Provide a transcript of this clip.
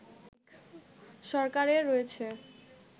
সরকারের রয়েছে